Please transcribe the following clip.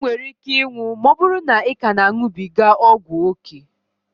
I nwere ike ịnwụ ma ọbụrụ na ị ka na a ṅubiga ọgwụ ókè